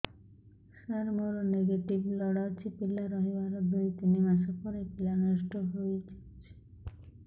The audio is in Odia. ସାର ମୋର ନେଗେଟିଭ ବ୍ଲଡ଼ ଅଛି ପିଲା ରହିବାର ଦୁଇ ତିନି ମାସ ପରେ ପିଲା ନଷ୍ଟ ହେଇ ଯାଉଛି